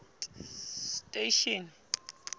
station